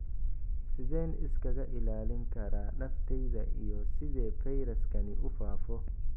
Sideen iskaga ilaalin karaa naftayda iyo sidee fayraskani u faafo?